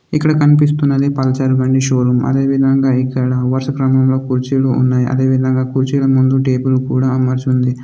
ఇక్కడ కనిపిస్తున్నది పల్సర్ బండి షోరూమ్ . అదేవిధంగా ఇక్కడ వరుస క్రమంలో కుర్చీలు ఉన్నాయ్. అదే విధంగా కుర్చీల ముందు టేబుల్ కూడా అమర్చి ఉంది.